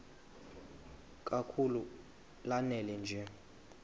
kakhulu lanela nje